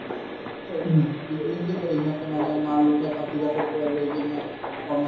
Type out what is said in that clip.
business য়ে কৰে সিহঁতে মানে মাল উঠাই পাচিঘাটৰ পৰা লৈ কিনে অৰুণাচল